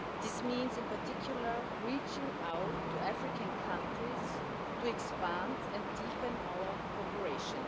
This means, in particular, reaching out to African countries to expand and deepen our cooperation.